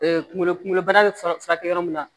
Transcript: kunkolo kunkolo bana bɛ furakɛ yɔrɔ min na